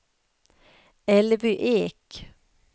Elvy Ek